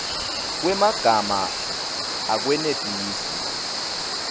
kwemagama akwenetisi